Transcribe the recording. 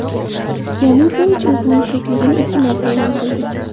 Yanukovich o‘zining tirikligini ikki marta e’lon qildi.